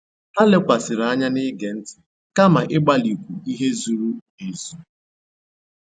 Ha lèkwàsị̀rị́ ànyá n'ìgé ntị́ kàma ị̀gbálì ìkwú ihe zùrù èzù.